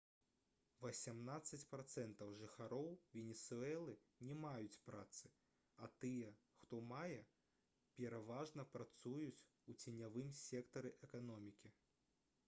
васямнаццаць працэнтаў жыхароў венесуэлы не маюць працы а тыя хто мае пераважна працуюць у ценявым сектары эканомікі